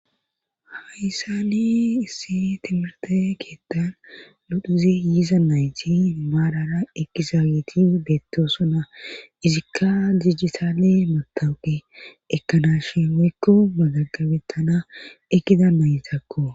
hayssani issi timirte keettan ludhuze yiiza nayti maarara ekizaayeti beettosona izikka dijisaale matawuqe ekkanashin weykko magagabettana ekida maytakko